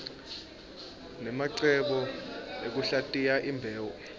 nemacebo ekuhlatiya imbewu